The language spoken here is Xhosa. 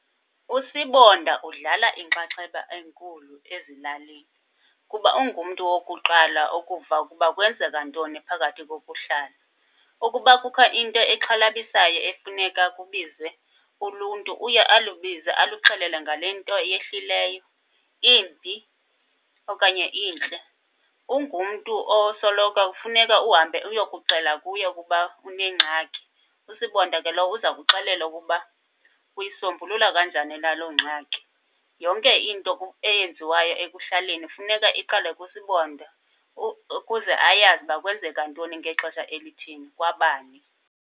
USibonda udlala inxaxheba enkulu ezilalini, kuba ungumntu wokuqala ukuva ukuba kwenzeka ntoni phakathi kokuhlala. Ukuba kukho into exhalabisayo efuneka kubizwe uluntu uye alubize aluxelele ngale nto yehlileyo imbi okanye intle. Ungumntu osoloko kufuneka uhambe uyokuxela kuye ukuba kunengxaki. USibonda ke lo uza kuxelela ukuba uyisombulula kanjani na loo ngxaki. Yonke into eyenziwayo ekuhlaleni funeka iqale kuSibonda, ukuze ayazi uba kwenzeka ntoni ngexesha elithini kwabani.